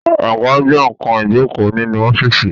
Àga jẹ nkan ìjókòó nínú ọ́fíìsì